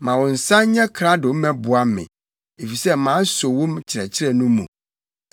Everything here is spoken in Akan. Ma wo nsa nyɛ krado mmɛboa me, efisɛ maso wo nkyerɛkyerɛ no mu.